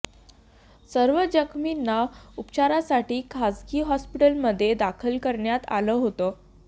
सर्व जखमींना उपचारासाठी खासगी हॉस्पिटलमध्ये दाखल करण्यात आलं होतं